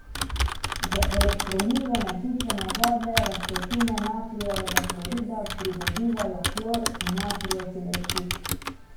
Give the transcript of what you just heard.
Z elektrolizo nasičene vodne raztopine natrijevega klorida pridobivajo klor in natrijev hidroksid.